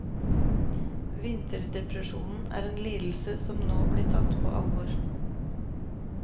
Vinterdepresjon er en lidelse som nå blir tatt på alvor.